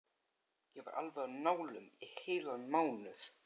Ég var alveg á nálum í heilan mánuð.